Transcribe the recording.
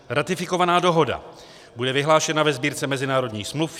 Ratifikovaná dohoda bude vyhlášena ve Sbírce mezinárodních smluv.